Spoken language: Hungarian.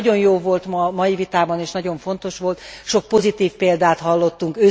Ami nagyon jó volt a mai vitában, és nagyon fontos volt, sok pozitív példát hallottunk.